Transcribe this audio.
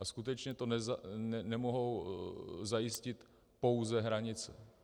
A skutečně to nemohou zajistit pouze hranice.